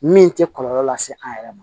Min tɛ kɔlɔlɔ lase an yɛrɛ ma